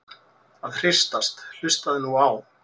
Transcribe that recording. að hristast- hlustaðu nú á!